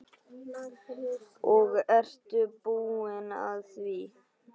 Og ertu búin að því?